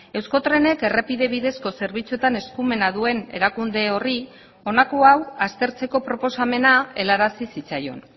euskotrenek errepide bidezko zerbitzuetan eskumena duen erakunde horri honako hau aztertzeko proposamena helarazi zitzaion